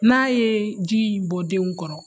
N'a ye ji in bɔ denw kɔrɔ